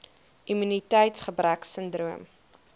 immuniteits gebrek sindroom